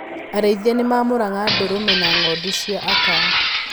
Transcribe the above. Arĩithia nĩmaamũraga ndũrũme na ng'ondu cia aka.